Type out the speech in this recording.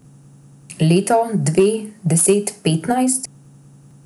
Leto, dve, deset, petnajst?